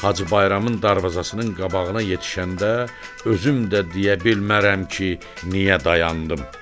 Hacı Bayramın darvazasının qabağına yetişəndə özüm də deyə bilmərəm ki, niyə dayandım.